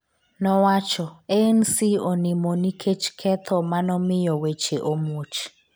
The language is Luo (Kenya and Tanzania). nowacho ANC''onimo nikech ketho manomiyo weche omuoch''